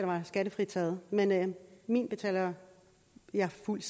var skattefritaget men min betaler jeg fuldt